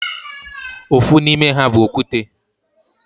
Ofu n'ime ha bu okwute.